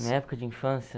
minha época de infância?